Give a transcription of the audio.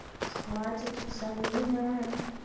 хватит русалина